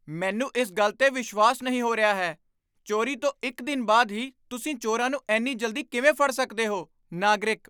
ਮੈਨੂੰ ਇਸ ਗੱਲ 'ਤੇ ਵਿਸ਼ਵਾਸ ਨਹੀਂ ਹੋ ਰਿਹਾ ਹੈ ਚੋਰੀ ਤੋਂ ਇੱਕ ਦਿਨ ਬਾਅਦ ਹੀ ਤੁਸੀਂ ਚੋਰਾਂ ਨੂੰ ਇੰਨੀ ਜਲਦੀ ਕਿਵੇਂ ਫੜ ਸਕਦੇ ਹੋ? ਨਾਗਰਿਕ